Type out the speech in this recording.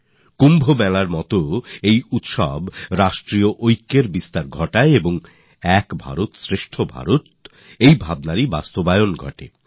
কুম্ভের মতোই এই উৎসবও জাতীয় একতাকে প্রেরণা যোগায় আর একভারত শ্রেষ্ঠ ভারতকে তুলে ধরে